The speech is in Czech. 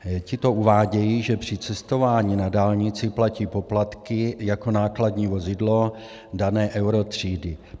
Tito uvádějí, že při cestování na dálnici platí poplatky jako nákladní vozidlo dané EURO třídy.